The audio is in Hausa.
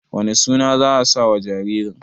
wane suna za a sa wa jaririn?